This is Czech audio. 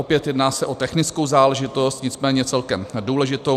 Opět se jedná o technickou záležitost, nicméně celkem důležitou.